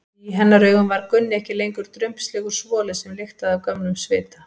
Í hennar augum var Gunni ekki lengur drumbslegur svoli sem lyktaði af gömlum svita.